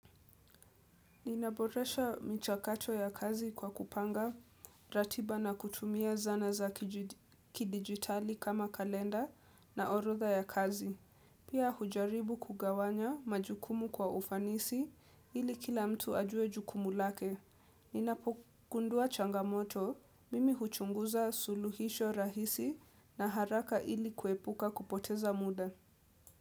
Ninaboresha mchakacho ya kazi kwa kupanga, ratiba na kutumia zana za kidigitali kama kalenda na orotha ya kazi. Pia hujaribu kugawanya majukumu kwa ufanisi ili kila mtu ajue jukumu lake. Ninapokundua changamoto, mimi huchunguza suluhisho rahisi na haraka ili kwepuka kupoteza muda.